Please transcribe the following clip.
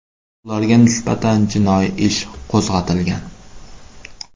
Ularga nisbatan jinoiy ish qo‘zg‘atilgan.